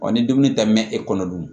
Ɔ ni dumuni ta mɛn e kɔnɔ dun